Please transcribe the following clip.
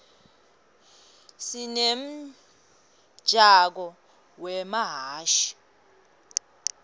sinemjako wemahhashi